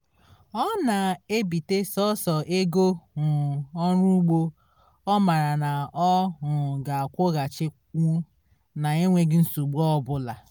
ọ na-ebite sọsọ ego um ọrụ ugbo ọ mara na ọ ga-akwụghachinwu na enweghi nsogbu ọbụla